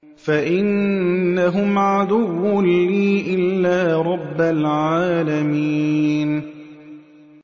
فَإِنَّهُمْ عَدُوٌّ لِّي إِلَّا رَبَّ الْعَالَمِينَ